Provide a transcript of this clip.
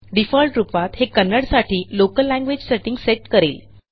default रूपात हे कन्नड साठी लोकल लँग्वेज सेटिंग सेट करेल